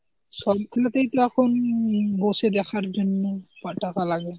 সবগুলোতেই তো এখন উম বসে দেখার জন্য টাকা লাগে.